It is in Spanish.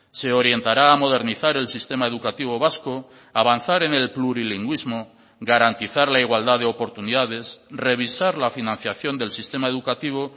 se orientará a modernizar el sistema educativo vasco avanzar en el plurilingüismo garantizar la igualdad de oportunidades revisar la financiación del sistema educativo